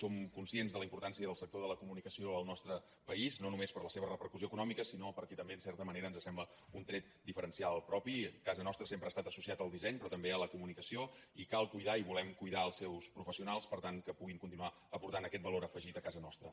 som conscients de la importància del sector de la comunicació al nostre país no només per la seva repercussió econòmica sinó perquè també en certa manera ens sembla un tret diferencial propi casa nostra sempre ha estat associada al disseny però també a la comunicació i cal cuidar i volem cuidar els seus professionals per tant que puguin continuar aportant aquest valor afegit a casa nostra